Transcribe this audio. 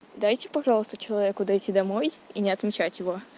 дайте пожалуйста человеку дойти домой и не отмечайте его